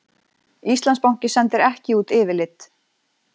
Íslandsbanki sendir ekki út yfirlit